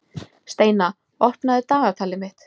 Steina, opnaðu dagatalið mitt.